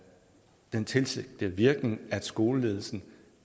den tilsigtede virkning at skoleledelsen